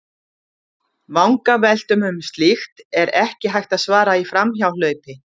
Vangaveltum um slíkt er ekki hægt að svara í framhjáhlaupi.